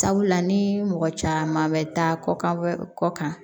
Sabula ni mɔgɔ caman bɛ taa kɔ kan kɔkan